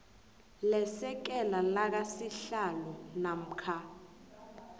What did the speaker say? lesekela lakasihlalo namkha